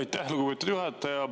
Aitäh, lugupeetud juhataja!